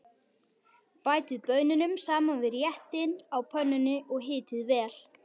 Bætið baununum saman við réttinn á pönnunni og hitið vel.